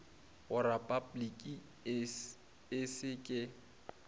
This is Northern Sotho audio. go repabliki e se ke